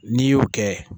N'i y'o kɛ